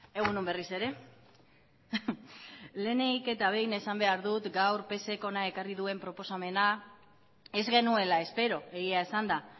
egun on berriz ere lehenik eta behin esan behar dut gaur psek gaur hona ekarri duen proposamena ez genuela espero egia esanda